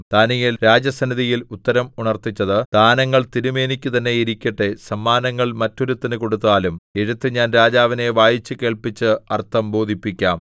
ദാനീയേൽ രാജസന്നിധിയിൽ ഉത്തരം ഉണർത്തിച്ചത് ദാനങ്ങൾ തിരുമേനിക്കു തന്നെ ഇരിക്കട്ടെ സമ്മാനങ്ങൾ മറ്റൊരുത്തന് കൊടുത്താലും എഴുത്ത് ഞാൻ രാജാവിനെ വായിച്ചു കേൾപ്പിച്ച് അർത്ഥം ബോധിപ്പിക്കാം